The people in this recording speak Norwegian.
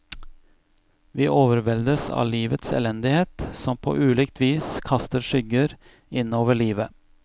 Vi overveldes av livets elendighet, som på ulikt vis kaster skygger innover livet.